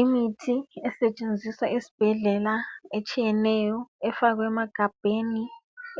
Imithi esetshenziswa esibhedlela etshiyeneyo. Efakwe emagabheni.